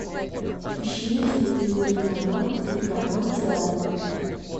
ищи на телевизоре канал телеканал театр